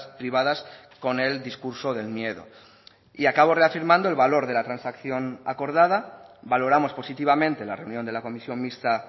privadas con el discurso del miedo y acabo reafirmando el valor de la transacción acordada valoramos positivamente la reunión de la comisión mixta